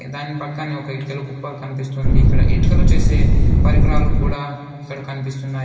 దాని పక్కనే ఒక ఇటుకల కుప్ప కనిపిస్తుంది ఇక్కడ ఇటుకలు చేసే పరికరాలు కూడా ఇక్కడ కనిపిస్తున్నాయి.